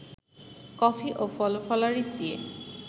coffee ও ফলফলারি দিয়ে